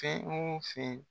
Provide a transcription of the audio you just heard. Fɛn o fɛn